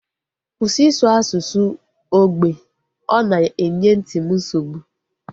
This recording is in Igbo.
Kwụsị ịsụ asụsụ ógbè! Ọ na-enye nti m nsogbu